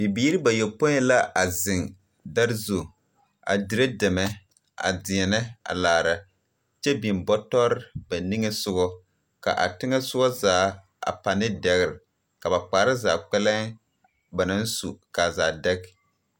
Bibiiri bayopoi la a zeŋ dare zu a dire dɛmɛ a deɛnɛ a laara. Kyɛ biŋ biŋ Bɔtɔr ba niŋe sogɔ , ka a teŋɛ soɔ zaa a pãã de dɛgre ,kaa ba kparre zaa kpɛlee ba naŋ su , kaa zaa dɛg.